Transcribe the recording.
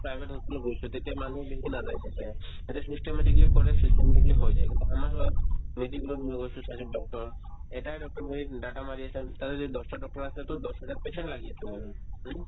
private hospital ত গৈছো তেতিয়া মানুহো বেছিকে নাযায় তাতে তাতে systematically কৰে systematically হৈ যায় কিন্তু আমাৰ সেহত medical ত গৈছো তাতে doctor এটায়ে doctor বহে তাতে যদি দছটা doctor আছে to দছহাজাৰ patient লাগি আছে মানে হয়নে ?